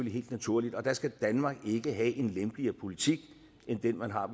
helt naturligt og der skal danmark ikke have en lempeligere politik end den man har